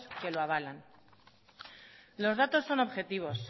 que lo avalan los datos son objetivos